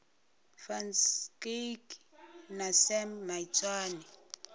van schalkwyk na sam maitswane